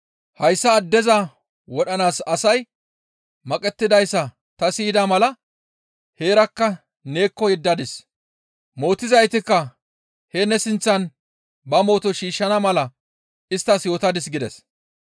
Hayssa addeza wodhanaas asay maqettidayssa ta siyida mala heerakka neekko yeddadis; mootizaytikka heen ne sinththan ba mooto shiishshana mala isttas yootadis» gides.